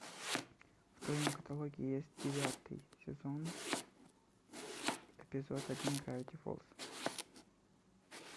в твоем каталоге есть девятый сезон эпизода один гравити фолз